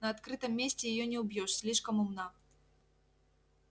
на открытом месте её не убьёшь слишком умна